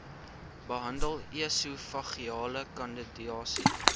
behandel esofageale kandidiase